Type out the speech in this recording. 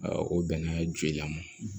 o bɛnna joli la